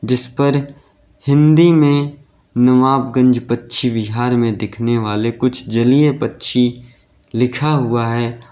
जिस पर हिंदी में नवाबगंज पक्षी विहार में दिखने वाले कुछ जलीय पक्षी लिखा हुआ है।